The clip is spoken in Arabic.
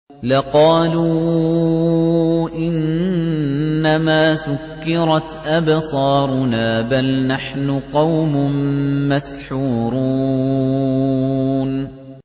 لَقَالُوا إِنَّمَا سُكِّرَتْ أَبْصَارُنَا بَلْ نَحْنُ قَوْمٌ مَّسْحُورُونَ